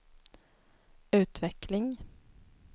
utveckling